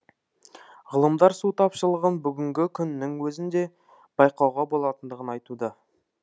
ғылымдар су тапшылығын бүгінгі күннің өзінде байқауға болатындығын айтуда